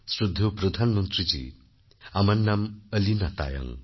শ্রদ্ধেয় প্রধানমন্ত্রীজী আমার নাম অলীনা তায়ং